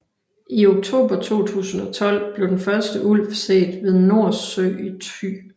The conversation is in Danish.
I oktober 2012 blev den første ulv set ved Nors Sø i Thy